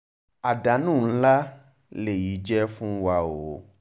àdánù ńlá lèyí jẹ́ fún jẹ́ fún wa o